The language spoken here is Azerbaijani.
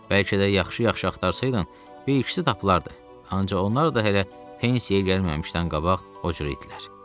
Bəlkə də yaxşı-yaxşı axtarsaydın, bir-ikisi tapılardı, ancaq onlar da hələ pensiyaya gəlməmişdən qabaq o cür itdilər.